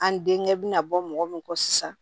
An denkɛ bina bɔ mɔgɔ min kɔ sisan